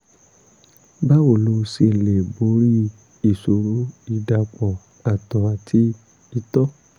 báwo la ṣe lè borí ìṣòro ìdàpọ̀ àtọ̀ àti ìtọ̀?